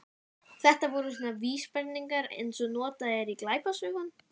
Þetta voru svona vísbendingar eins og eru notaðar í glæpasögum.